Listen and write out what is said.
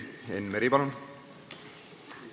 Enn Meri, palun!